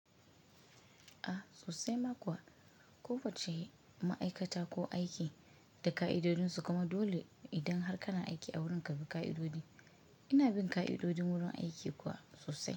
Sosai ma kuwa. Ko wacce ma'aikata ko aiki da ka'idodinsu kuma dole idan har kana aiki a wurin ka bi ka'idodi. Ina bin ka'idodin wurin aiki kuwa sosai.